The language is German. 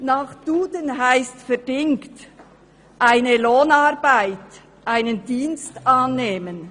Nach «Duden» heisst «verdingen», «eine Lohnarbeit, einen Dienst annehmen».